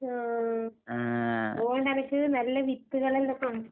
ആഹ് അതോണ്ടെനക്ക് നല്ല വിത്ത്കള്